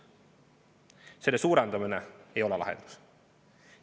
Selle suurendamine ei ole lahendus.